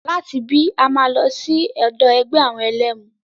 Láti ibí, a máa lọ sí ọ̀dọ̀ ẹgbẹ́ àwọn ẹlẹ́mu.